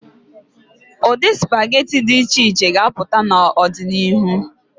Ụdị sụpageti dị iche iche ga-apụta n'ọdịnihu.